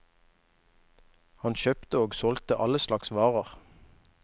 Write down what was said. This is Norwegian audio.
Han kjøpte og solgte alle slags varer.